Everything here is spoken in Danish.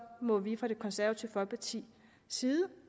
må vi fra det konservative folkepartis side